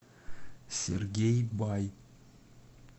сергей бай